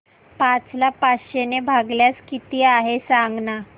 पाच ला पाचशे ने भागल्यास किती आहे सांगना